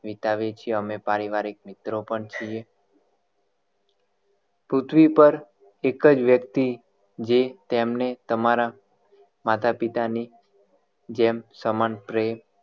વિતાવીએ છે અમે પારિવારિક મિત્ર પણ છીએ પૃથ્વી પર એક જ વ્યક્તિ જે તેમણે તમારા માતા પિતા ની જેમ સમાન પ્રેમ